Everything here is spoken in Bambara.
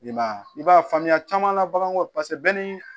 I ma ye i b'a faamuya caman la baganw paseke bɛɛ ni